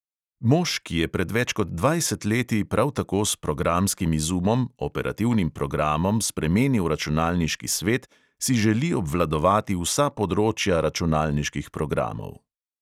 Mož, ki je pred več kot dvajset leti prav tako s programskim izumom, operativnim programom, spremenil računalniški svet, si želi obvladovati vsa področja računalniških programov.